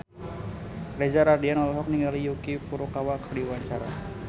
Reza Rahardian olohok ningali Yuki Furukawa keur diwawancara